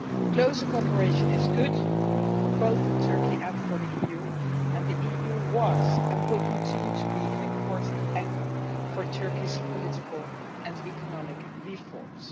Closer cooperation is good for both Turkey and the EU, and the EU was and will continue to be an important anchor for Turkey's political and economic reforms.